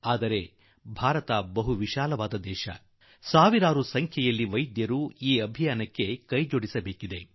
ಆದರೆ ಭಾರತ ಬಹಳ ವಿಶಾಲ ದೇಶವಾದುದರಿಂದ ಲಕ್ಷಗಟ್ಟಲೆ ವೈದ್ಯರು ಈ ಆಂದೋಲನದಲ್ಲಿ ತೊಡಗಿಸಿಕೊಳ್ಳುವ ಅಗತ್ಯವಿದೆ